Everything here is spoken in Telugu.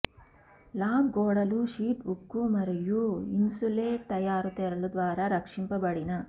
లాగ్ గోడలు షీట్ ఉక్కు మరియు ఇన్సులేట్ తయారు తెరలు ద్వారా రక్షించబడిన